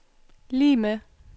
lig med